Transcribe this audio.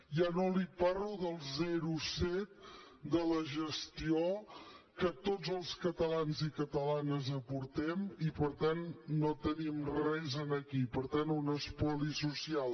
ja no li parlo del zero coma set de la gestió que tots els catalans i catalanes aportem i per tant no tenim res aquí per tant un espoli social